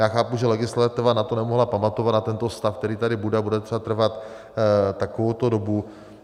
Já chápu, že legislativa na to nemohla pamatovat, na tento stav, který tady bude a bude třeba trvat takovouto dobu.